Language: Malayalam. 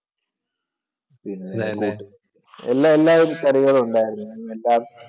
പിന്നെ എല്ലാ വിധ കറികളുണ്ടായിരുന്നു എല്ലാം